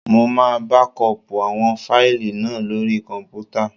Mo máa bákọọ̀pù àwọn fáìlì náà lóri kọ̀m̀pútà.